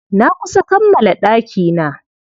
Na kusa kammala ɗakina.